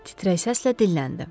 Titrək səslə dilləndi.